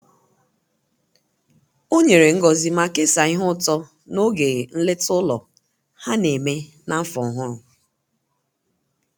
o nyere ngozi ma kesaa ihe ụtọ n'oge nleta ụlọ ha na-eme n'afọ ọhụrụ